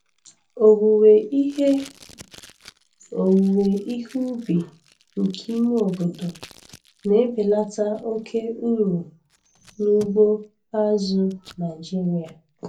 Owuwe ihe Owuwe ihe ubi nke ime obodo na-ebelata oke uru n'ugbo azụ̀ Naịjiria.